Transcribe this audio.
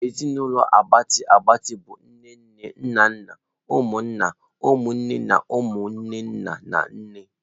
Ezinụlọ a gbatịa agbati bụ nne nne, nna nna, nwanne nna, nwanne nne na umu nwanne nna na nne.